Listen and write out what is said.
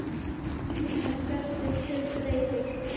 Hann settist upp, reiður.